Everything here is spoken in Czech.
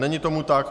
Není tomu tak.